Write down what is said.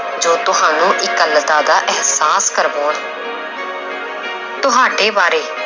ਜੋ ਤੁਹਾਨੂੰ ਇਕੱਲਤਾ ਦਾ ਅਹਿਸਾਸ ਕਰਵਾਉਣ ਤੁਹਾਡੇ ਬਾਰੇ